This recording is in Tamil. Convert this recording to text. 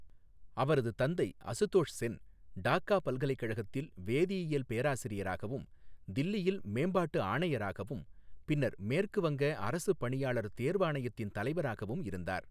அவரது தந்தை அசுதோஷ் சென் டாக்கா பல்கலைக்கழகத்தில் வேதியியல் பேராசிரியராகவும், தில்லியில் மேம்பாட்டு ஆணையராகவும், பின்னர் மேற்கு வங்க அரசுப் பணியாளர் தேர்வாணையத்தின் தலைவராகவும் இருந்தார்.